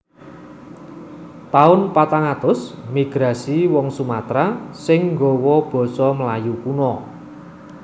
Taun patang atus Migrasi wong Sumatera sing gawa basa Melayu kuno